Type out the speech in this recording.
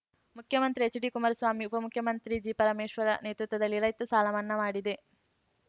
ಮುಖ್ಯಮಂತ್ರಿ ಎಚ್‌ಡಿಕುಮಾರಸ್ವಾಮಿ ಉಪಮುಖ್ಯಮಂತ್ರಿ ಜಿಪರಮೇಶ್ವರ ನೇತೃತ್ವದಲ್ಲಿ ರೈತ ಸಾಲ ಮನ್ನಾ ಮಾಡಿದೆ